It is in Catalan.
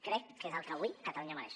crec que és el que avui catalunya mereix